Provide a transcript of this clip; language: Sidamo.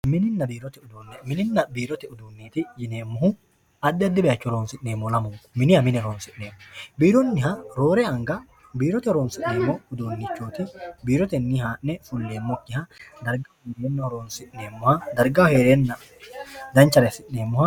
Mininna biirote uduunne, mininna biirote uduunne yineemmohu addi addi baayiicho horonsi'neemmoho lamunku. Miniha mine horonsi'neemmo. Biironniha roore anga biirote horonsi'neemmo uduunnichooti. Biirotenni haa'ne fulleemmokkiha dargaho heereenna danchare assi'neemmoha.